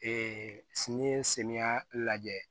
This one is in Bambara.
sini samiyɛ lajɛ